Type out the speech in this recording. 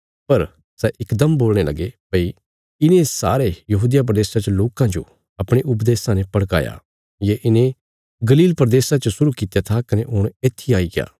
पर सै इकदम बोलणे लगे भई इने सारे यहूदिया प्रदेशा च लोकां जो अपणे उपदेशां ने भड़काया ये इने गलील प्रदेशा च शुरु कित्या था कने हुण येत्थी आईग्या